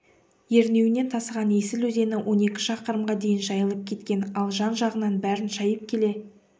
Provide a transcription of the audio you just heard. ернеуінен тасыған есіл өзені он екі шақырымға дейін жайылып кеткен ал жан-жағынан бәрін шайып келе